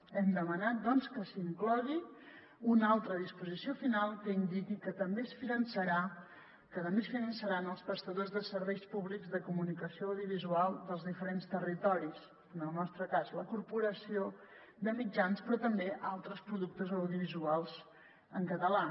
hem demanat doncs que s’inclogui una altra disposició final que indiqui que també es finançaran els prestadors de serveis públics de comunicació audiovisual dels diferents territoris en el nostre cas la corporació de mitjans però també altres productes audiovisuals en català